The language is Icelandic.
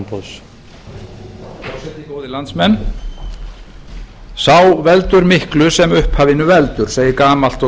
herra forseti góðir landsmenn sá veldur miklu sem upphafinu veldur segir gamalt og